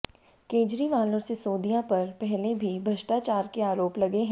केजरीवाल और सिसोदिया पर पहले भी भ्रष्टाचार के आरोप लगे हैं